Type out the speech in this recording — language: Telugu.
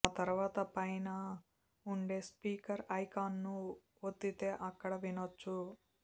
ఆ తర్వాత పైన ఉండే స్పీకర్ ఐకాన్ను ఒత్తితే అక్కడే వినొచ్చు